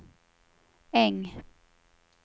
Äng